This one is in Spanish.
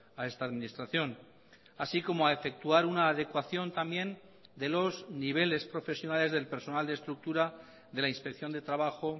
a esta administración así como a efectuar una adecuación también de los niveles profesionales del personal de estructura de la inspección de trabajo